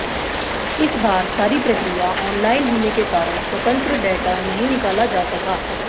इस बार सारी प्रक्रिया ऑनलाइन होने के कारण स्वतंत्र डेटा नहीं निकाला जा सका